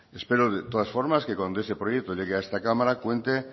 espero de todas formas que cuando ese proyecto llegue a esta cámara cuente